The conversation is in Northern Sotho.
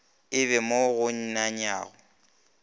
e be mo go nanyago